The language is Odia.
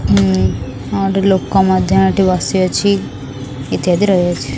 ଉଁ ଉଁ ଆଉ ଗୋଟେ ଲୋକ ମଧ୍ୟ ଏଠି ବସିଅଛି ଇତ୍ୟାଦି ରହିଅଛି ।